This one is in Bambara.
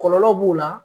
Kɔlɔlɔ b'o la